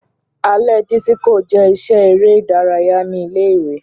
Alẹ disiko jẹ iṣẹ ere idaraya ni ile-iwe.